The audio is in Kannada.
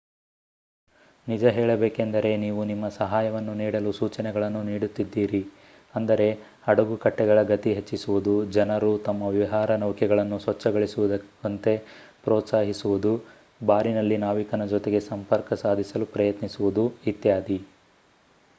ನಿಜ ಹೇಳಬೇಕೆಂದರೆ ನೀವು ನಿಮ್ಮ ಸಹಾಯವನ್ನು ನೀಡಲು ಸೂಚನೆಗಳನ್ನು ನೀಡುತ್ತಿದ್ದೀರಿ ಅಂದರೆ ಹಡಗುಕಟ್ಟೆಗಳ ಗತಿ ಹೆಚ್ಚಿಸುವುದು ಜನರು ತಮ್ಮ ವಿಹಾರ ನೌಕೆಗಳನ್ನು ಸ್ವಚ್ಛಗೊಳಿಸುವಂತೆ ಪ್ರೋತ್ಸಾಹಿಸುವುದು ಬಾರಿನಲ್ಲಿ ನಾವಿಕನ ಜೊತೆಗೆ ಸಂಪರ್ಕ ಸಾಧಿಸಲು ಪ್ರಯತ್ನಿಸುವುದು ಇತ್ಯಾದಿ